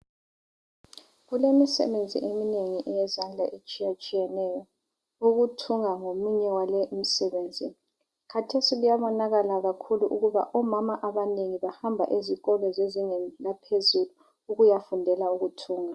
Kulemisebenzi eyezandla etshiya tshiyeneyo ukuthunga yiminye yale imisebenzi khathec kuyabonakala ukuthi omama abanengi bahamba ezikolo zezingeni laphezulu ukuyafundela ukuthunga